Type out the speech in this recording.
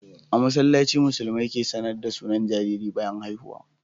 A masallaci musulmai ke sAnar da sunan jariri bayan haihuwa